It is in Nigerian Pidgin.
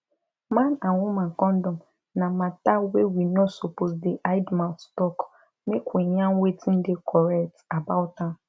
man and woman condom na matter wey we no suppose dey hide mouth talk make we yarn wetin dey correct about am